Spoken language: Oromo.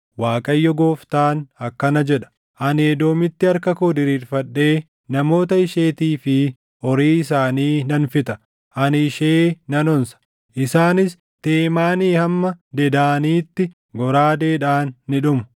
Waaqayyo Gooftaan akkana jedha: Ani Edoomitti harka koo diriirfadhee namoota isheetii fi horii isaanii nan fixa. Ani ishee nan onsa; isaanis Teemaanii hamma Dedaaniitti goraadeedhaan ni dhumu.